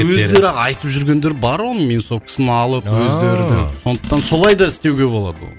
өздері айтып жүргендер бар оны минусовкасын алып өздеріне сондықтан солай да істеуге болады оны